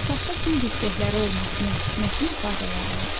Otaqda gül dibçəkləri olmasının nə kimi faydaları var?